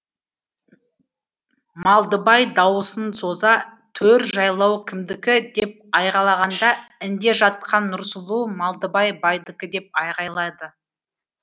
малдыбай дауысын соза төр жайлау кімдікі деп айғайлағанда інде жатқан нұрсұлу малдыбай байдікі деп айғайлады